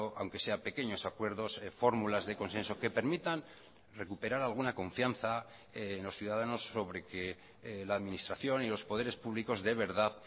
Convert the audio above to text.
aunque sea pequeños acuerdos fórmulas de consenso que permitan recuperar alguna confianza en los ciudadanos sobre que la administración y los poderes públicos de verdad